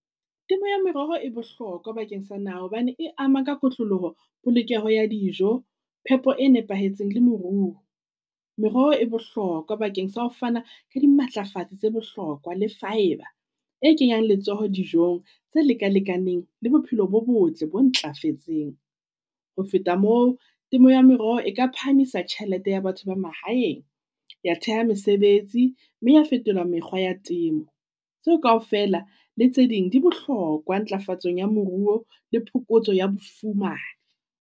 Temo ya meroho e bohlokwa bakeng sa naha hobane e ama ka kotloloho polokeho ya dijo, phepo e nepahetseng le moruo. Meroho e bohlokwa bakeng sa ho fana ka dimatlafatsi tsa bohlokwa le fibre e kenyang letsoho dijong tse leka-lekaneng le bophelo bo botle bo ntlafetseng. Ho feta moo, temo ya meroho e ka phahamisa tjhelete ya batho ba mahaeng, ya theha mesebetsi, mme ya fetola mekgwa ya temo. Tseo kaofela le tse ding di bohlokwa ntlafatsong ya moruo le phokotso ya bofuma.